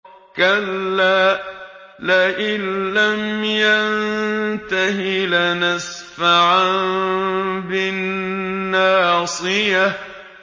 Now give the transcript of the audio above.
كَلَّا لَئِن لَّمْ يَنتَهِ لَنَسْفَعًا بِالنَّاصِيَةِ